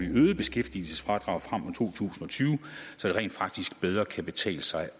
øgede beskæftigelsesfradraget frem mod to tusind og tyve så det rent faktisk bedre kan betale sig